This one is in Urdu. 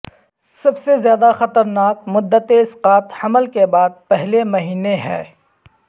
سب سے زیادہ خطرناک مدت اسقاط حمل کے بعد پہلے مہینے ہے